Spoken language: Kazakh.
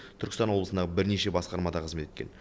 түркістан облысындағы бірнеше басқармада қызмет еткен